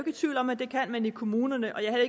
i tvivl om at det kan man i kommunerne og jeg er